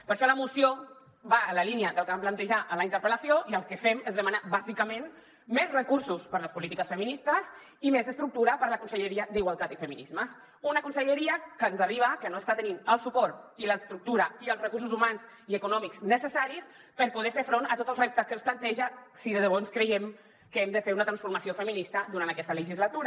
per això la moció va en la línia del que vam plantejar en la interpel·lació i el que fem és demanar bàsicament més recursos per a les polítiques feministes i més estructura per a la conselleria d’igualtat i feminismes una conselleria que ens arriba que no està tenint el suport i l’estructura i els recursos humans i econòmics necessaris per poder fer front a tots els reptes que es planteja si de debò ens creiem que hem de fer una transformació feminista durant aquesta legislatura